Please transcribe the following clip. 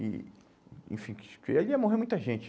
E enfim, que porque ali ia morrer muita gente.